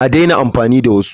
A daina amfani da wasu!